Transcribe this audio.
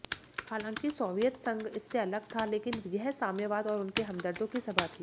हालांकि सोवियत संघ इससे अलग था लेकिन यह साम्यवाद और उनके हमदर्दों की सभा थी